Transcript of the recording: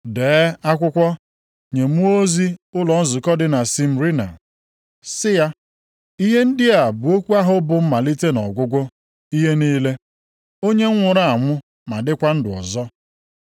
“Dee akwụkwọ nye mmụọ ozi ụlọ nzukọ dị na Smyrna, sị ya: Ihe ndị a bụ okwu ahụ bụ Mmalite na Ọgwụgwụ ihe niile. Onye nwụrụ anwụ ma dịkwa ndụ ọzọ.